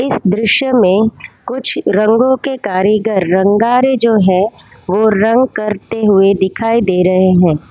दृश्य में कुछ रंगों के कारीगर रंगारे जो हैं वो रंग करते हुए दिखाई दे रहे हैं।